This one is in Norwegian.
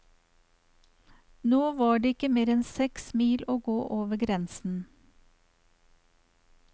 Nå var det ikke mer enn seks mil å gå over grensen.